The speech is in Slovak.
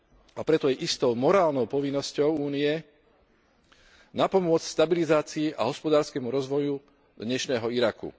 A preto je istou morálnou povinnosťou Únie napomôcť stabilizáciu a hospodársky rozvoj dnešného Iraku.